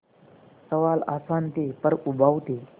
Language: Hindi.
सवाल आसान थे पर उबाऊ थे